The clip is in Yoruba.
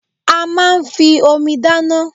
A máa ń fi Omi dáná